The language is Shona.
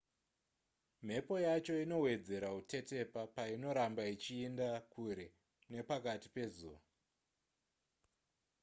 mhepo yacho inowedzera kutetepa painoramba ichienda kure nepakati pezuva